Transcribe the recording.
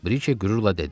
Brike qürurla dedi.